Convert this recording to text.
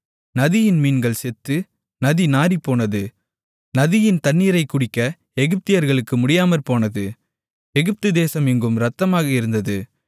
நதியின் மீன்கள் செத்து நதி நாறிப்போனது நதியின் தண்ணீரைக் குடிக்க எகிப்தியர்களுக்கு முடியாமற்போனது எகிப்து தேசம் எங்கும் இரத்தமாக இருந்தது